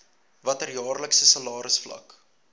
watter jaarlikse salarisvlak